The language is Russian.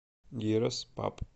гирос паб